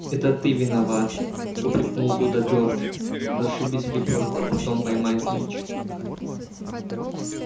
это ты виноват упрекнул вуда джордж расшибись в лепёшку а потом поймай снитч